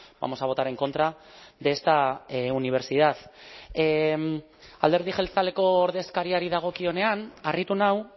vamos a votar en contra de esta universidad alderdi jeltzaleko ordezkariari dagokionean harritu nau